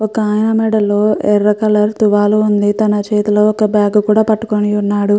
ఒక ఆయన మెడలో ఎర్ర కలర్ తువాలు ఉంది. తన చేతిలో ఒక బాగ్ కూడా పట్టుకొని ఉన్నాడు.